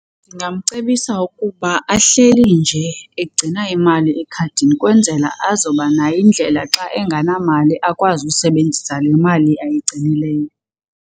Ndingamcebisa ukuba ahleli nje egcina imali ekhadini kwenzela azoba nayo indlela xa engenamali akwazi usebenzisa le mali ayigcinileyo.